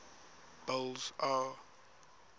boles aw